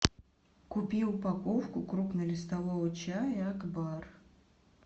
купи упаковку крупнолистового чая акбар